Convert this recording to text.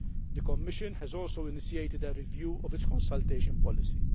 The Commission has also initiated a review of its Consultation policy.